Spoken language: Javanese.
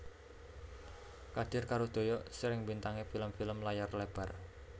Kadir karo Doyok sering mbintangi film film layar lebar